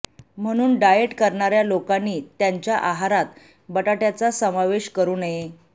म्हणून डाएट करण्याऱ्या लोकांनी त्यांच्या आहारात बटाट्याचा समावेश करू नये